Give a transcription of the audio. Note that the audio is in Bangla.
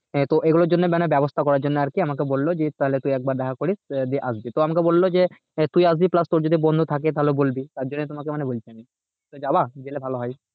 হ্যাঁ তো এ গুলোর জন্য মানে ব্যাবস্থা করার জন্য আরকি আমাকে বললো জিৎ তাহলে একবার দেখা করিস আহ দিয়ে আসবি তো আমাকে বললো যে আহ তুই আসবি plus তোর যদি বন্ধু থাকে তাহলে বলবি তার জন্য তোমাকে মানে বলছি তুমি যাবে? গেলে ভালো হয়